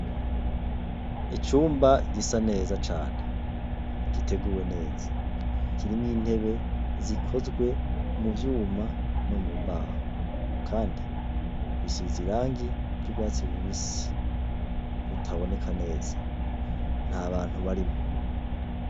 Icumba gisa neza cane giteguwe neza kirimwo intebe zikozwe muvyuma no mumbaho kandi risize irangi ryurwatsi rubisi ritaboneka neza ntabantu barimwo